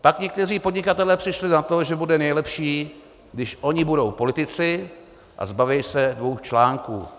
Pak někteří podnikatelé přišli na to, že bude nejlepší, když oni budou politici a zbaví se dvou článků.